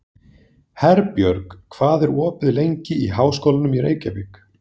Herbjörg, hvað er opið lengi í Háskólanum í Reykjavík?